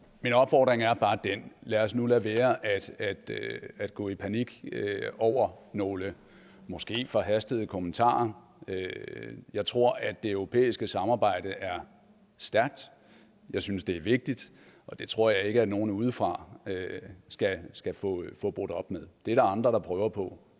min opfordring er bare den lad os nu lade være at gå i panik over nogle måske forhastede kommentarer jeg tror at det europæiske samarbejde er stærkt jeg synes det er vigtigt og det tror jeg ikke at nogen udefra skal få brudt op med det er der andre der prøver på